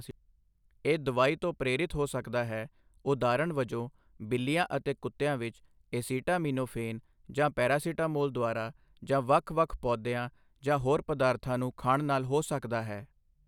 ਇਹ ਦਵਾਈ ਤੋਂ ਪ੍ਰੇਰਿਤ ਹੋ ਸਕਦਾ ਹੈ, ਉਦਾਹਰਣ ਵਜੋਂ ਬਿੱਲੀਆਂ ਅਤੇ ਕੁੱਤਿਆਂ ਵਿੱਚ ਏਸੀਟਾਮਿਨੋਫੇਨ ਜਾਂ ਪੈਰਾਸੀਟਾਮੋਲ ਦੁਆਰਾ, ਜਾਂ ਵੱਖ ਵੱਖ ਪੌਦਿਆਂ ਜਾਂ ਹੋਰ ਪਦਾਰਥਾਂ ਨੂੰ ਖਾਣ ਨਾਲ ਹੋ ਸਕਦਾ ਹੈ।